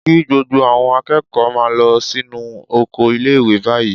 Kí gbogbo àwọn akẹ́kọ̀ọ́ máa lọ sínú oko ilé-ìwé báyìí